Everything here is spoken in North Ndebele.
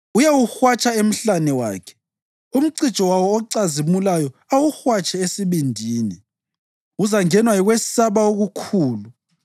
Uyawuhwatsha emhlane wakhe, umcijo wawo ocazimulayo awuhwatshe esibindini. Uzangenwa yikwesaba okukhulu;